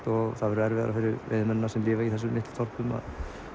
og það verður erfiðara fyrir veiðimennina sem lifa í þessum litlu þorpum að